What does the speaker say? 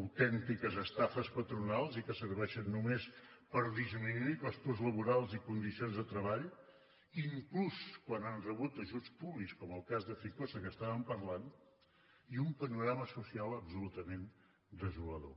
autèntiques estafes patronals i que serveixen només per disminuir costos laborals i condicions de treball inclús quan han rebut ajuts públics com el cas de ficosa que estàvem parlant i un panorama social absolutament desolador